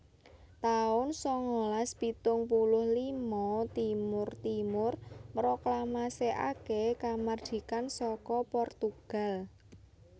taun sangalas pitung puluh lima Timor Timur mroklamasèkaké kamardikan saka Portugal